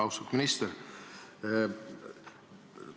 Austatud minister!